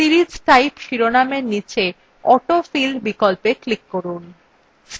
series type শিরোনামের নীচে autofill বিকল্পে click করুন